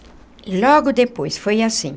Logo depois, foi assim...